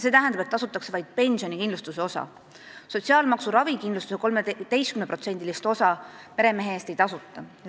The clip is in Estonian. See tähendab, et tasutakse vaid pensionikindlustuse osa, sotsiaalmaksu ravikindlustuse 13%-list osa meremehe eest ei tasuta.